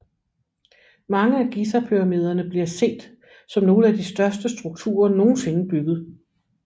Mange af Gizapyramiderne bliver set som nogle af de største strukturer nogensinde bygget